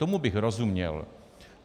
Tomu bych rozuměl.